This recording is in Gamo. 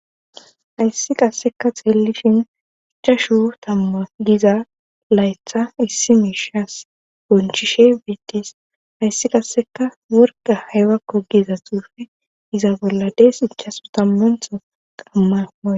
ayssi qasseka xeelishin ichashuh tamma giza laytha issi miishas bonchishe beettees ayssi qasseka worga haywakko giza xuufe iza bolla dees ichasu tammantho qammaa